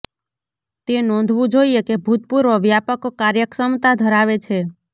તે નોંધવું જોઇએ કે ભૂતપૂર્વ વ્યાપક કાર્યક્ષમતા ધરાવે છે